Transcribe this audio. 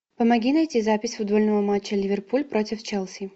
помоги найти запись футбольного матча ливерпуль против челси